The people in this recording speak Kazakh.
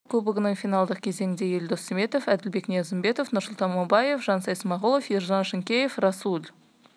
сондай-ақ конфедерация кубогының финалдық кезеңіне елдос сметов әділбек ниязымбетов нұрсұлтан мамаев жансай смағұлов ержан шынкеев расуль